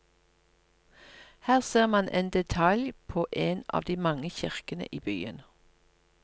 Her ser man en detalj på en av de mange kirkene i byen.